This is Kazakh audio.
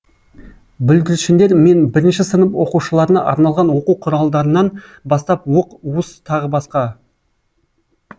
бүлдіршіндер мен бірінші сынып оқушыларына арналған оқу құралдарынан бастап уық уыс тағы басқа